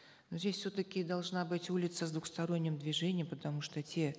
но здесь все таки должна быть улица с двусторонним движением потому что те